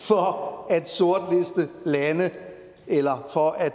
for at sortliste lande eller for at